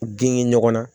Gengen ɲɔgɔnna